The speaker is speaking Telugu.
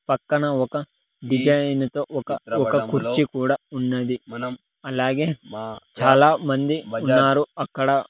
పక్కన ఒక డిజైను తో ఒక ఒక కుర్చీ కూడా ఉన్నది అలాగే చాలామంది ఉన్నారు అక్కడ.